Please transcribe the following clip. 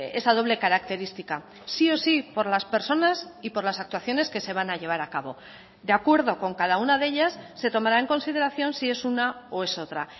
esa doble característica sí o sí por las personas y por las actuaciones que se van a llevar a cabo de acuerdo con cada una de ellas se tomará en consideración si es una o es otra